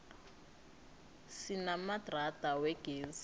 sinamadrada wegezi